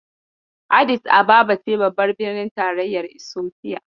Adis ababa ce babbar birnin tarayyar Isofiya.